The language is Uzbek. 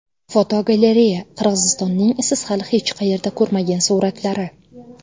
Fotogalereya: Qirg‘izistonning siz hali hech qayerda ko‘rmagan suratlari.